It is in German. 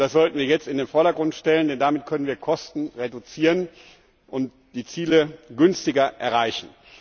Das sollten wir jetzt in den Vordergrund stellen, denn damit können wir Kosten reduzieren und die Ziele günstiger erreichen.